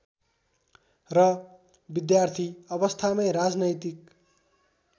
र विद्यार्थी अवस्थामै राजनैतिक